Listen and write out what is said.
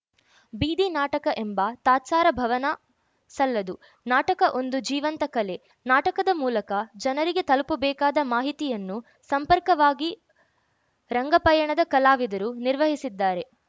ಬೀದಿನಾಟಕ ಎಂಬ ತಾತ್ಸಾರ ಭವನ ಸಲ್ಲದು ನಾಟಕ ಒಂದು ಜೀವಂತ ಕಲೆ ನಾಟಕದ ಮೂಲಕ ಜನರಿಗೆ ತಲುಪಬೇಕಾದ ಮಾಹಿತಿಯನ್ನು ಸಂರ್ಪಕವಾಗಿ ರಂಗಪಯಣದ ಕಲಾವಿದರು ನಿರ್ವಹಿಸಿದ್ದಾರೆ